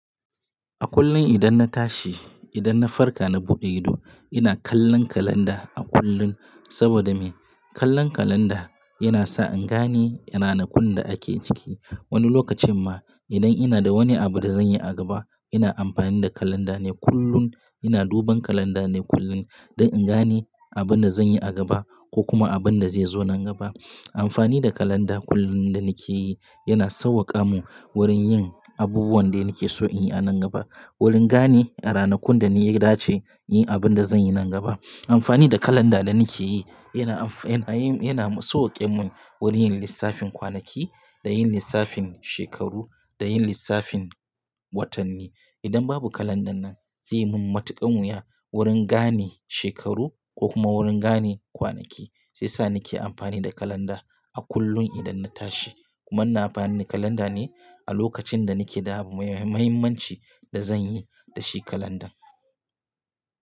A kullum idan na tashi, idan na farka na buɗe ido ina kallon kalanda a kullum saboda me? Kallon kalanda yana sa in gane ranakun da ake ciki. Wani lokacin ma idan ina da wani abu da zan yi a gaba ina amfani da kalanda ne kullum. Ina duban kalanda ne kullum don in gani abin da zan yi a gaba ko kuma abin da zai zo nan gaba. Amfani da kalanda kullum da nake yi yana sauwaƙa min wurin yin abubuwan da nake so in yi a nan gaba. Wurin gane ranakun da ni ya dace yin abin da zan yi nan gaba. Amfani da kalanda da nake yi yana amfa-- yana, yana sauwaƙe mun wurin yin lissafin kwanaki da yin lissafin shekaru da yin lissafin watanni. Idan babu kalandar nan zai yi min matuƙan wuya wurin gane shekaru ko kuma wurin gane kwanaki shiyasa nake amfani da kalanda a kullum idan na tashi. Kuma ina amfani da kalanda ne a lokacin da nake da abu mai muhi-muhimmin da zan yi da shi kalandar.